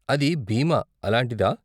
అది బీమా, అలాంటిదా?